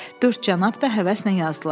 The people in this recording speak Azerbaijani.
Dörd cənab da həvəslə yazdılar.